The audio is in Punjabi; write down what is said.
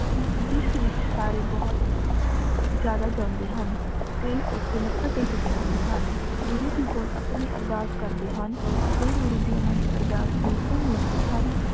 ਜਿਸ ਵਿਚ ਸਾਰੀ ਬੋਹਤ ਜਾਦਾ ਜਾਂਦੀ ਹਨ ਟੀ ਓਥੀ ਮਾਥਾ ਟੇਕ ਕ ਏੰਡੀ ਹਨ ਗੁਰੂ ਗੀ ਕੋਲ ਆਪਣੀ ਅਰਦਾਸ ਕਰਦੀ ਹਨ ਟੀ ਗੁਰੂ ਗੀ ਓਹਨਾ ਦੀ ਅਰਦਾਸ ਨੂ ਸੁਨ ਲੇੰਡੀ ਹਨ